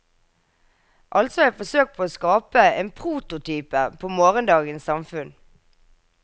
Altså et forsøk på å skape en prototype på morgendagens samfunn.